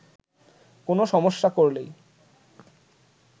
কোনো সমস্যা করলেই